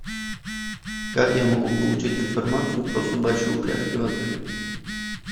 как я могу получить информацию про собачьи упряжки в отеле